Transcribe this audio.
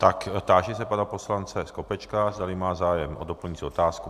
Tak, táži se pana poslance Skopečka, zdali má zájem o doplňující otázku.